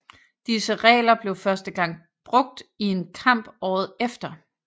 Disse regler blev første gang brugt i en kamp året efter